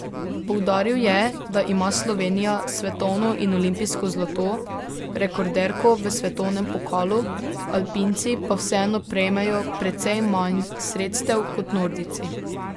Poudaril je, da ima Slovenija svetovno in olimpijsko zlato, rekorderko v svetovnem pokalu, alpinci pa vseeno prejmejo precej manj sredstev kot nordijci.